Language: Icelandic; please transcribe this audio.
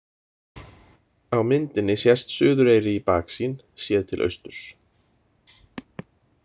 Á myndinni sést Suðureyri í baksýn, séð til austurs.